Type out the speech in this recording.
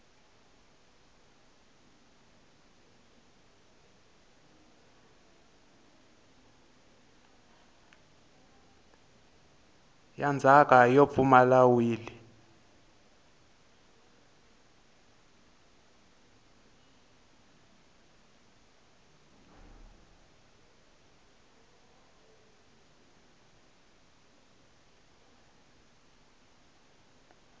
ya ndzhaka yo pfumala wili